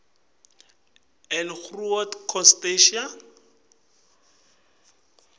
and groot constantia